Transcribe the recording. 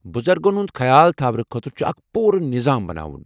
بُزرگن ہُند خیال تھاونہٕ خٲطرٕ چُھ اکھ پوٗرٕ نظام بناوُن